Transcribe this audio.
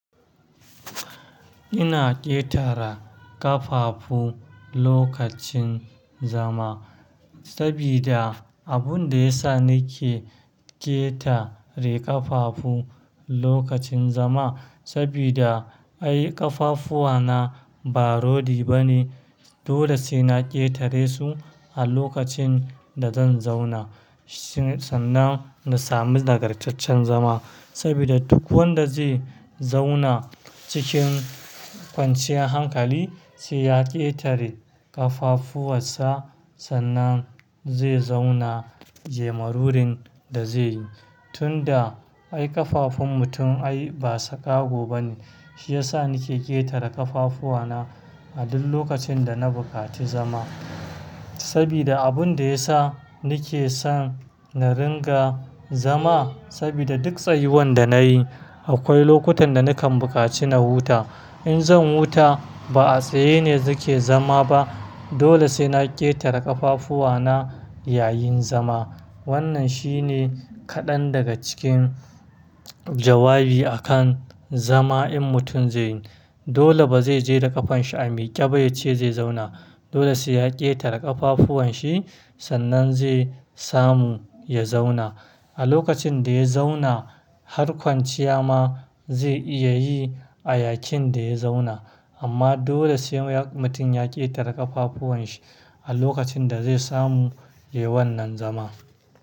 Ina ƙetara ƙafafu lokacin zama. Sabida abun da ya sa nake ƙetare ƙafafu lokacin zama sabida ai ƙafafuwa na ba rodi ba ne. Dole sai na ƙetare su a lokacin da zan zauna sannan na sami dagar taccen zama. Sabida duk wanda zai zauna cikin kwanciyar hankali sai ya ƙetare ƙafafuwan sa sannan zai zauna ya yi marurin da zai yi. Tunda ai ƙafafun mutum ai ba sakago ba ne, shi ya sa nake ƙetare ƙafafuwa na a duk lokacin da na bukaci zama. Sabida abun da ya sa nake son na ringa zama sabida duk tsayuwan da nayi akwai lokutan da nakan bukaci na huta. In zan huta ba a tsaye ne nake zama ba dole sai na ƙetare ƙafafuwa na ya yin zama. Wannan shi ne kaɗan daga cikin jawabi a kan zama in mutum zai yi. Dole ba zai je da ƙafan shi a miƙe ba ya ce zai zauna. Dole sai ya ƙetare ƙafafuwanshi sannan zai samu ya zauna. A lokacin da ya zauna, har kwanciya ma zai iya yi a yakin da ya zauna. Amma dole sai mutum ya ƙetare ƙafafuwanshi a lokacin da zai samu lewar nan zama.